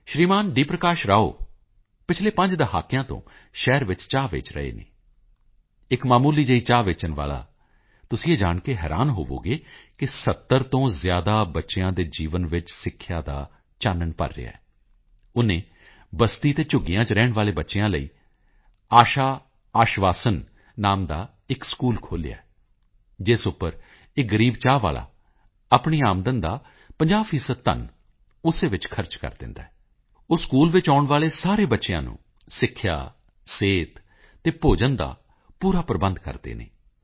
ਪ੍ਰਕਾਸ਼ ਰਾਓ ਪਿਛਲੇ ਪੰਜ ਦਹਾਕਿਆਂ ਤੋਂ ਸ਼ਹਿਰ ਵਿੱਚ ਚਾਹ ਵੇਚ ਰਹੇ ਹਨ ਇੱਕ ਮਾਮੂਲੀ ਜਿਹੀ ਚਾਹ ਵੇਚਣ ਵਾਲਾ ਤੁਸੀਂ ਇਹ ਜਾਣ ਕੇ ਹੈਰਾਨ ਹੋਵੋਗੇ ਕਿ 70 ਤੋਂ ਜ਼ਿਆਦਾ ਬੱਚਿਆਂ ਦੇ ਜੀਵਨ ਵਿੱਚ ਸਿੱਖਿਆ ਦਾ ਚਾਨਣ ਭਰ ਰਿਹਾ ਹੈ ਉਨ੍ਹਾਂ ਨੇ ਬਸਤੀ ਅਤੇ ਝੁੱਗੀਆਂ ਚ ਰਹਿਣ ਵਾਲੇ ਬੱਚਿਆਂ ਲਈ ਆਸ਼ਾ ਆਸ਼ਵਾਸਨ ਨਾਮ ਦਾ ਇੱਕ ਸਕੂਲ ਖੋਲ੍ਹਿਆ ਜਿਸ ਉੱਪਰ ਇਹ ਗ਼ਰੀਬ ਚਾਹ ਵਾਲਾ ਆਪਣੀ ਆਮਦਨ ਦਾ 50 ਪ੍ਰਤੀਸ਼ਤ ਧਨ ਉਸੇ ਵਿੱਚ ਖਰਚ ਕਰ ਦਿੰਦਾ ਹੈ ਉਹ ਸਕੂਲ ਵਿੱਚ ਆਉਣ ਵਾਲੇ ਸਾਰੇ ਬੱਚਿਆਂ ਨੂੰ ਸਿੱਖਿਆ ਸਿਹਤ ਅਤੇ ਭੋਜਨ ਦਾ ਪੂਰਾ ਪ੍ਰਬੰਧ ਕਰਦੇ ਹਨ ਮੈਂ ਡੀ